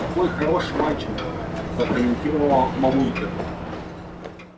какой хороший мальчик прокомментировала мамулька